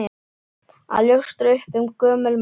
Að ljóstra upp um gömul mál